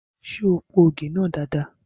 Ṣé o po ògì náà dada?